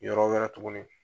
Yɔrɔ wɛrɛ tuguni.